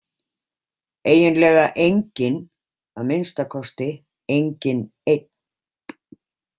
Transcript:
Eiginlega enginn, að minnsta kosti enginn einn.